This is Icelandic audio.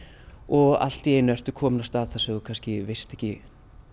og allt í einu ertu komin á stað þar sem þú veist ekki